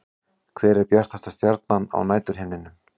Hver er bjartasta stjarnan á næturhimninum?